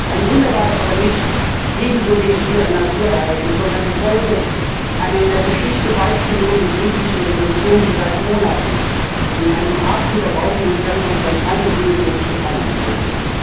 Ein Wunder war es aber nicht, ebenso wenig wie ein Naturereignis, sondern die Folge einer in der Geschichte beispiellosen, friedlichen Revolution, die seit Monaten in einem atemberaubenden Tempo von einem Höhepunkt zum anderen eilte.